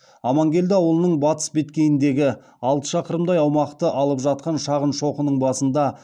аманкелді ауылының батыс беткейіндегі алты шақырымдай аумақты алып жатқан шағын шоқының басында